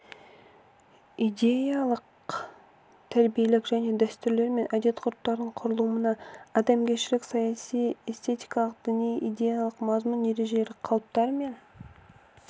идеялық-тәрбиелік және дәстүрлер мен әдет-ғұрыптардың құрылымына адамгершілік саяси эстетикалық діни идеялық мазмұн ережелер қалыптар мен